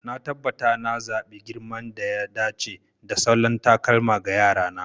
Na tabbata na zaɓi girman da ya dace da salon takalma ga Yara na.